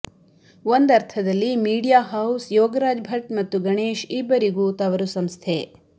ಒಂದರ್ಥದಲ್ಲಿ media house Yogaraj Bhat ಮತ್ತು ಗಣೇಶ್ ಇಬ್ಬರಿಗೂ ತವರು ಸಂಸ್ಥೆ